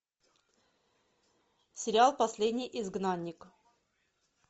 сериал последний изгнанник